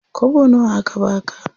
Kwabo nawa aka baka?